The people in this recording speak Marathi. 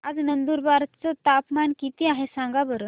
आज नंदुरबार चं तापमान किती आहे सांगा बरं